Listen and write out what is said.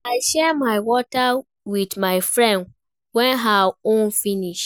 I share my water wit my friend wen her own finish.